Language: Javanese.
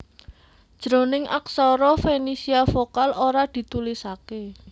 Jroning aksara Fenisia vokal ora ditulisaké